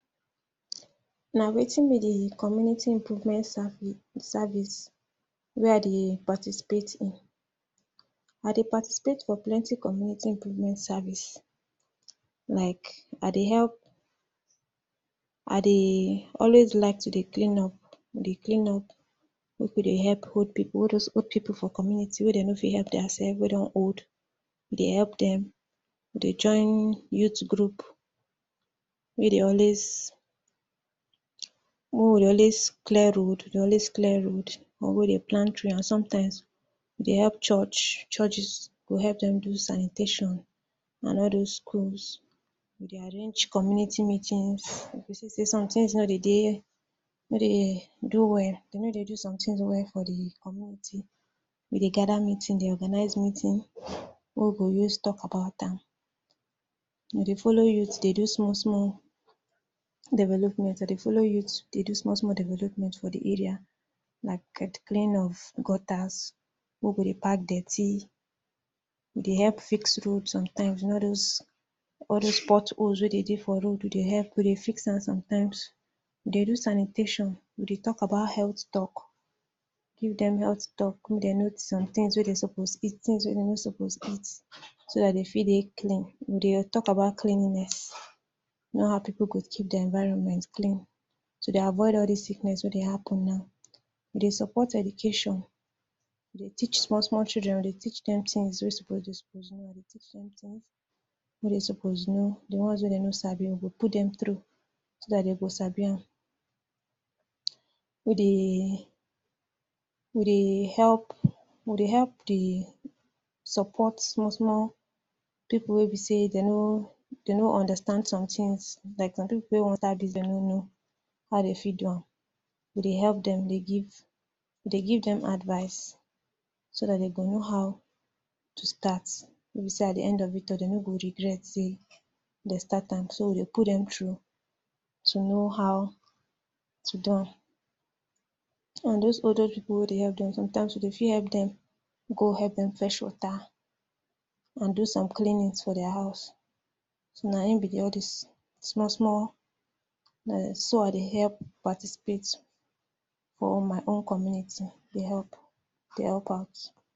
wetin be de community improvement service wey I dey participate in. I dey participate for plenty community improvement service like, I dey help, I dey always like to dey clean up dey clean up. Make we dey help old pipu, all those old pipu for community wey dem no fit epp dia sef, wey don old. We dey help dem. We dey join youth group wey dey always make we dey always clear road, we dey always clear road or wey we dey always plant trees. And sometimes, we dey epp church, churches, we go epp dem do sanitation, and all those schools. We dey arrange community meetings. You go see sey sometins no dey de, no dey do well. Dem no dey do some tins well for de community. We dey gather meeting, dey organize meeting wey we go use tok about am. We dey follow youth dey do small small development. I dey follow youth dey do small small development for de area. Like like, cleaning of gutters wey we go dey pack dirty, we dey epp fix road sometimes. You know those, all those potholes wey dey de for road, we dey epp we dey fix am sometimes. We dey do sanitation. We dey tok about health tok, give dem health tok, make dem note sometins wey dem suppose eat, tins wey dem no suppose eat, so dat dem fit dey clean. We dey tok about cleanliness. You know how pipu go keep dia environment clean, to dey avoid all dis sickness wey dey happen now. We dey support education. We dey teach small small chidren, we dey teach dem tins wey suppose wey dem suppose know. We dey teach sometins wey dem suppose know. De ones wey dem no sabi, we go put dem through, so dat dem go sabi am. We dey we dey epp we dey epp dey support small small pipu wey be sey dem no dem no understand sometins. Like some pipu wey wan start business wey dem no know how dem fit do am. We dey epp dem dey give, we dey give dem advice so dat dem go know how to start, wey be sey at de end of it all, dem no go regret sey dem start am. So, we dey put dem through to know how to do am. And those old old pipu wey we dey epp dem, sometimes, we fit epp dem go epp dem go fetch water and do some cleanings for dia house. Na im be de all dis small small wey I dey epp participate for my own community. Dey epp. Dey help out